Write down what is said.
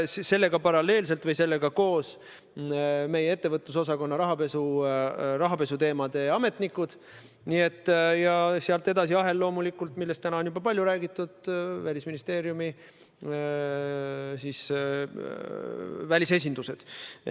Sellega paralleelselt või sellega koos olid kaasatud meie ettevõtlusosakonna rahapesuteemaga seotud ametnikud ja sealt edasi läks ahel loomulikult nendega, kellest täna on juba palju räägitud – Välisministeeriumi välisesindused.